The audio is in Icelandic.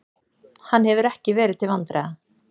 Hann hefur ekki verið til vandræða.